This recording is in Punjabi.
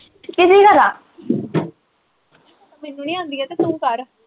ਮੈਨੂੰ ਨੀ ਆਉਂਦੀ ਆ ਏ ਤੇ ਤੂੰ ਕਰ